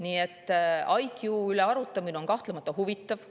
IQ üle arutamine on kahtlemata huvitav.